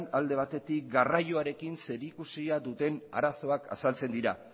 alde batetik garraioarekin zerikusia duten arazoak azaltzen dira